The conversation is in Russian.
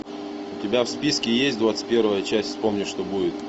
у тебя в списке есть двадцать первая часть вспомни что будет